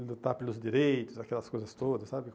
Lutar pelos direitos, aquelas coisas todas, sabe?